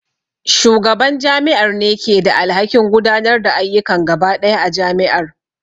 Shugaban jami'ar ne ke da alhakin gudanar da ayyukan gaba ɗaya jami'ar